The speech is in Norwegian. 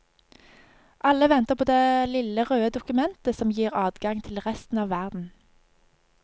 Alle venter på det lille røde dokumentet som gir adgang til resten av verden.